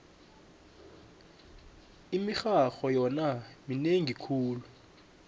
imirharho yona minengi khulu